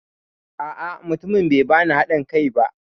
A'a, mutumin bai bani haɗin kai ba.